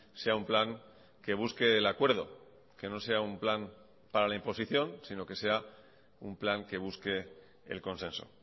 sea un plan que busque el acuerdo que no sea un plan para la imposición sino que sea un plan que busque el consenso